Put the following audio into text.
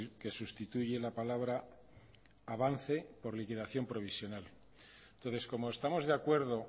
que sustituye la palabra avance por liquidación provisional entonces como estamos de acuerdo